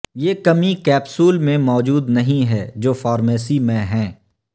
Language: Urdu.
یہ کمی کیپسول میں موجود نہیں ہے جو فارمیسی میں ہیں